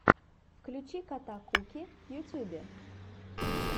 включи кота куки в ютьюбе